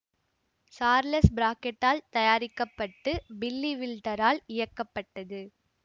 Charles பிராக்கேடால் தயாரிக்க பட்டு பில்லி வில்டரால் இயக்கப்பட்டது